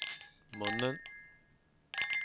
munnen